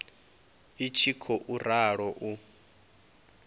i tshi khou ralo u